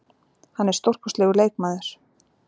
Hann er stórkostlegur leikmaður.